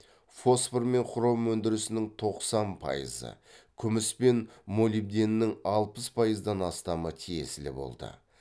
фосфор мен хром өндірісінің тоқсан пайызы күміс пен молибденнің алпыс пайыздан астамы тиесілі болды